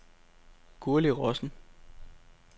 Gurli Rossen